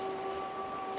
það